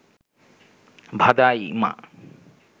ভাদাইমা